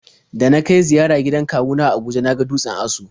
Da na kai ziyara gidan kawu na a Abuja na ga dutsen Aso.